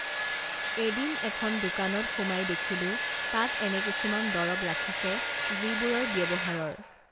এদিন এখন দোকানত সুমাই দেখিলো তাত এনে কিছুমান দৰব ৰাখিছে যিবোৰৰ ব্যৱহাৰৰ